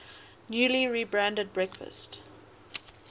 newly rebranded breakfast